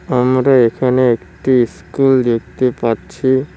আমরা এখানে একটি স্কুল দেখতে পাচ্ছি।